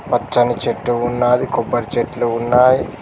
పచ్చని చెట్టు ఉన్నది కొబ్బరి చెట్లు ఉన్నాయి.